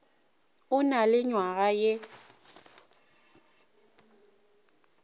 a na le nywaga ye